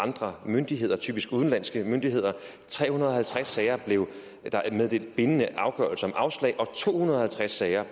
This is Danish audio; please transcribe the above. andre myndigheder typisk udenlandske myndigheder i tre hundrede og halvtreds sager blev der meddelt bindende afgørelse om afslag i to hundrede og halvtreds sager